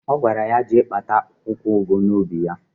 Ọ gwara ya jee kpata akwụkwọụgụ n'ubi ya.